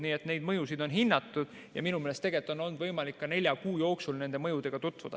Nii et neid mõjusid on hinnatud ja minu meelest on olnud võimalik ka nelja kuu jooksul nende mõjudega tutvuda.